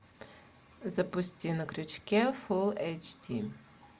запусти на крючке фулл эйч ди